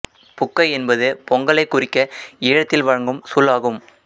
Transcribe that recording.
புக்கை என்பது பொங்கலைக் குறிக்க ஈழத்தில் வழங்கும் சொல் ஆகும்